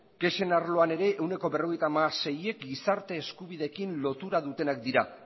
kexen arloan ere ehuneko berrogeita hamaseiak gizarte eskubideekin lotura dutenak dira